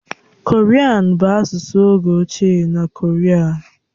Korian bụ asụsụ oge ochie na Koria.